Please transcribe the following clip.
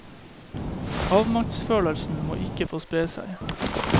Avmaktsfølelsen må ikke få spre seg.